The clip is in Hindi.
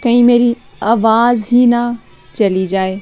कहीं मेरी आवाज ही ना चली जाए।